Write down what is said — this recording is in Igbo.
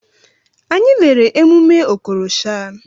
Anyị lere emume Okorosha.